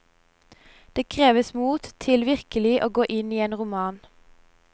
Det kreves mot til virkelig å gå inn i en roman.